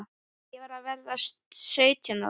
Ég var að verða sautján ára.